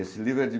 Esse livro é de